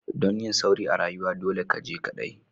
Dan yin sauri a rayuwa, dolle ka je kadai!